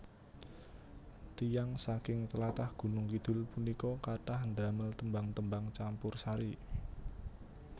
Tiyang saking tlatah Gunung Kidul punika kathah ndamel tembang tembang campursari